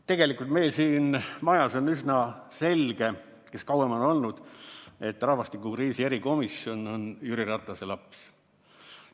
Tegelikult meil siin majas on üsna selge, kes kauem on olnud, et rahvastikukriisi erikomisjon on Jüri Ratase laps.